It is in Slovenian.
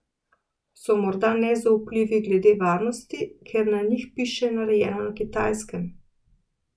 So morda nezaupljivi glede varnosti, ker na njih piše narejeno na Kitajskem?